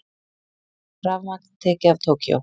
Rafmagn tekið af Tókýó